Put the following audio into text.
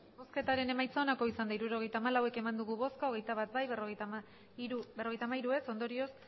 hirurogeita hamalau eman dugu bozka hogeita bat bai berrogeita hamairu ez ondorioz